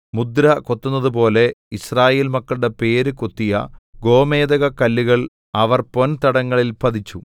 മുദ്ര കൊത്തുന്നതുപോലെ യിസ്രായേൽ മക്കളുടെ പേര് കൊത്തിയ ഗോമേദകക്കല്ലുകൾ അവർ പൊൻ തടങ്ങളിൽ പതിച്ചു